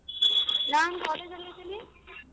ನಾನ್ college ಅಲ್ ಇದೀನಿ.